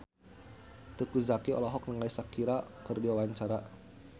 Teuku Zacky olohok ningali Shakira keur diwawancara